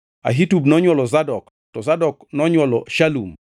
Ahitub nonywolo Zadok, to Zadok nonywolo Shalum,